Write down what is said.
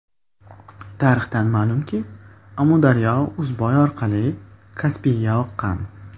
Tarixdan ma’lum-ki, Amudaryo Uzboy orqali Kaspiyga oqqan.